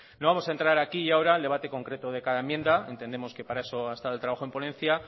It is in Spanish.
no vamos a entrar aquí ahora al debate concreto de cada enmienda entendemos que para eso ha estado el trabajo en ponencia